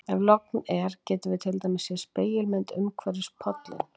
ef logn er getum við til dæmis séð spegilmynd umhverfisins í pollinum